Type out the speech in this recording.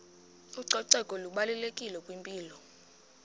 ucoceko lubalulekile kwimpilo